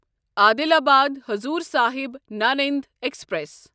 Adilabad Hazur Sahib Nanded express